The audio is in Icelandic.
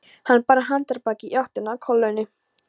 Hann bar handarbakið í áttina að kolunni.